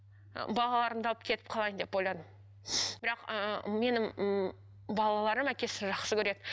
ы балаларымды алып кетіп қалайын деп ойладым бірақ ыыы менің ммм балаларым әкесін жақсы көреді